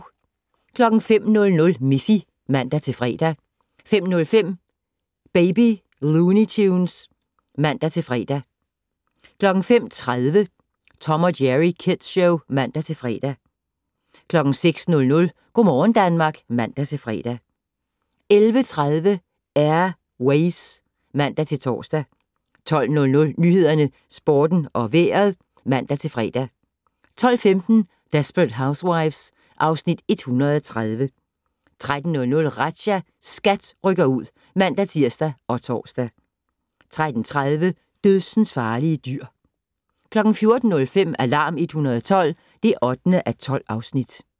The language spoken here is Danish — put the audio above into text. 05:00: Miffy (man-fre) 05:05: Baby Looney Tunes (man-fre) 05:30: Tom & Jerry Kids Show (man-fre) 06:00: Go' morgen Danmark (man-fre) 11:30: Air Ways (man-tor) 12:00: Nyhederne, Sporten og Vejret (man-fre) 12:15: Desperate Housewives (Afs. 130) 13:00: Razzia - SKAT rykker ud (man-tir og tor) 13:30: Dødsensfarlige dyr 14:05: Alarm 112 (8:12)